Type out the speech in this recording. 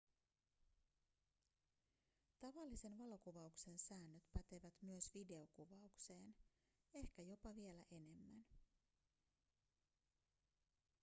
tavallisen valokuvauksen säännöt pätevät myös videokuvaukseen ehkä jopa vielä enemmän